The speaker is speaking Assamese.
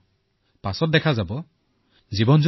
যি নাৰ্ছ কৰ্মী আছিল তেওঁলোকেও আমাক সহযোগিতা প্ৰদান কৰিলে